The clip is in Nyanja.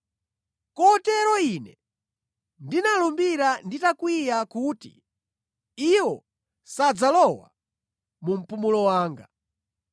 Kotero Ine ndinalumbira nditakwiya kuti, ‘Iwo sadzalowa mu mpumulo wanga.’ ”